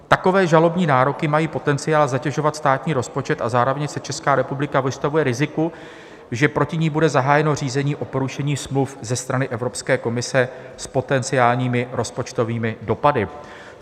Takové žalobní nároky mají potenciál zatěžovat státní rozpočet a zároveň se Česká republika vystavuje riziku, že proti ní bude zahájeno řízení o porušení smluv ze strany Evropské komise s potenciálními rozpočtovými dopady.